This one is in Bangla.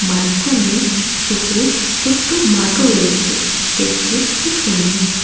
মাঝখানে সবুজ ছোট্ট মাঠও রয়েছে দেখতে খুব সুন্দর।